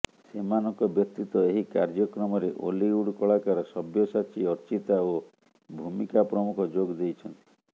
ସେମାନଙ୍କ ବ୍ୟତୀତ ଏହି କାର୍ୟ୍ୟକ୍ରମରେ ଓଲିଉଡ଼ କଳାକାର ସବ୍ୟସାଚୀ ଅର୍ଚ୍ଚିତା ଓ ଭୂମିକା ପ୍ରମୁଖ ଯୋଗ ଦେଇଛନ୍ତି